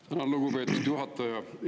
Tänan, lugupeetud juhataja!